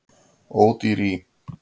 Ódýr í